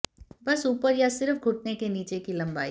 बस ऊपर या सिर्फ घुटने के नीचे की लंबाई